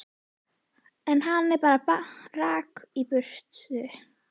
En hann bara rauk í burtu.